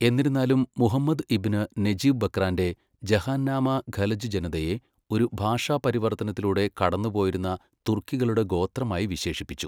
എന്നിരുന്നാലും, മുഹമ്മദ് ഇബ്ന് നജീബ് ബക്രാന്റെ ജഹാൻനാമാ ഖലജ് ജനതയെ ഒരു ഭാഷാപരിവർത്തനത്തിലൂടെ കടന്നുപോയിരുന്ന തുർക്കികളുടെ ഗോത്രമായി വിശേഷിപ്പിച്ചു.